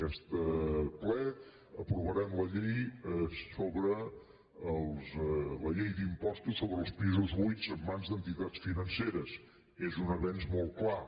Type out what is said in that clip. aquest ple aprovarem la llei d’impostos sobre els pisos buits en mans d’entitats financeres és un avenç molt clar